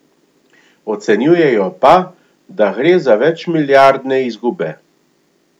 Ocenjujejo pa, da gre za večmilijardne izgube.